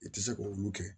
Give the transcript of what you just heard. I tɛ se k'olu kɛ